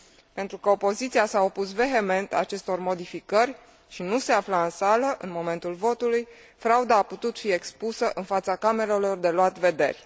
Pentru că opoziția s a opus vehement acestor modificări și nu se afla în sală, în momentul votului, frauda a putut fi expusă în fața camerelor de luat vederi.